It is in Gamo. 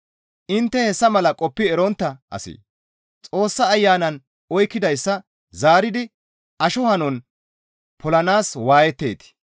Intte hessa mala qoppi erontta asee? Xoossa Ayanan oykkidayssa zaaridi asho hanon polanaas waayetteetii?